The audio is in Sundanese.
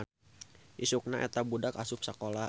Isukna eta budak asup sakola.